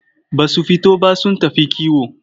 Ba su fito ba sun tafi kiwo.